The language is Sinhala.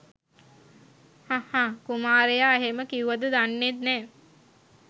හඃ හඃ කුමාරයා එහෙම කිවුවද දන්නෙත් නෑ.